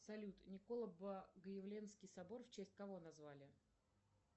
салют николо богоявленский собор в честь кого назвали